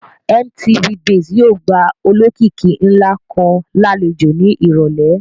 MTV base yóò gba olókìkí ńlá kan lálejò ní ìrọ̀lẹ́